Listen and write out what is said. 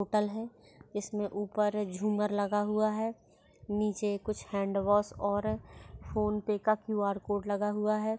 Hotel है इसमे ऊपर झूमर लगा हुआ है नीचे कुछ हाँड़ वॉश और फोन पे का क्यू आर कोड़ लगा हुआ है।